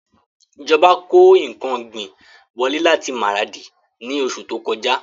Ìjọba kó ǹkan ọ̀gbìn wọlé láti Maradi ni oṣù ti o kọjá